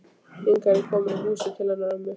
Hingað er ég komin í húsið til hennar ömmu.